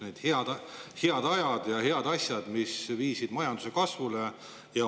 Need olid head ajad ja head asjad, mis viisid majanduse kasvule.